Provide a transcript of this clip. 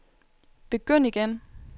begynd igen